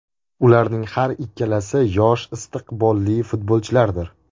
Ularning har ikkalasi yosh istiqbolli futbolchilardir”.